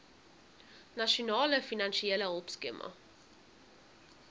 nasionale finansiële hulpskema